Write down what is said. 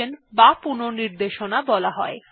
এখন দেখা যাক কিভাবে এই ৩ স্ট্রিম এ পুনর্নির্দেশনা করা যায়